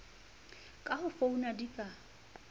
ka ho founa di ka